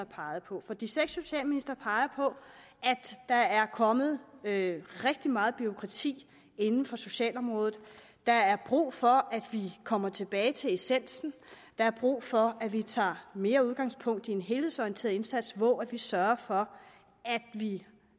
peget på for de seks socialministre peger på at der er kommet rigtig meget bureaukrati inden for socialområdet at der er brug for at vi kommer tilbage til essensen at der er brug for at vi tager mere udgangspunkt i en helhedsorienteret indsats hvor vi sørger for at vi